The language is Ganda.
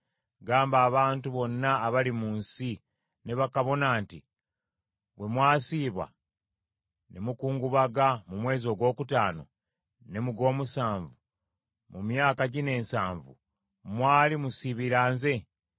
“Gamba abantu bonna abali mu nsi, ne bakabona nti, ‘Bwe mwasiiba ne mukungubaga mu mwezi ogwokutaano ne mu gw’omusanvu mu myaka gino ensanvu, mwali musiibira nze?